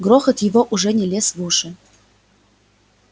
грохот его уже не лез в уши